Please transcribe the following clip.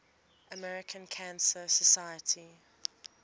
american cancer society